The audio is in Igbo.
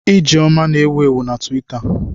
Ijeoma na-ewu ewu na Twitita.